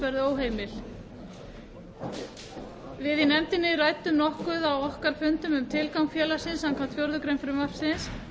verði óheimil á fundum sínum ræddi nefndin nokkuð um tilgang félagsins samkvæmt fjórðu grein frumvarpsins